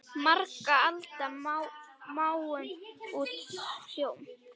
Margra alda máum út hljóm?